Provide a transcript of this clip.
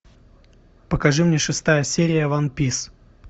покажи мне шестая серия ван пис